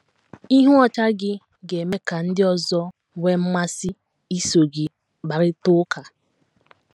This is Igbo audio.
Ihu ọchị gị ga - eme ka ndị ọzọ nwee mmasị iso gị kparịta ụka.